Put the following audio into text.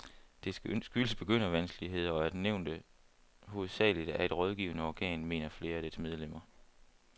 Det skyldes begyndervanskeligheder, og at nævnet hovedsageligt er et rådgivende organ, mener flere af dets medlemmer.